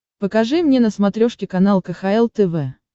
покажи мне на смотрешке канал кхл тв